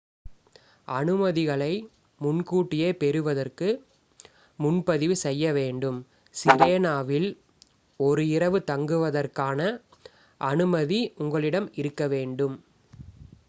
அனுமதிகளை முன்கூட்டியே பெறுவதற்கு முன்பதிவு செய்யவேண்டும் சிரேனாவில் ஒரு இரவு தங்குவதற்கான அனுமதி உங்களிடம் இருக்கவேண்டும்